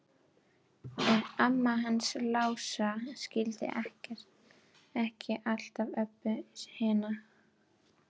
En mamma hans Lása skildi ekki alltaf Öbbu hina.